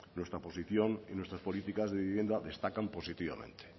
nuestra posición y nuestras políticas de vivienda destacan positivamente